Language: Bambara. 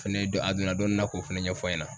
Fɛnɛ dɔn a donna dɔni na k'o fɛnɛ ɲɛfɔ an ɲɛna.